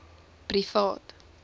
privaat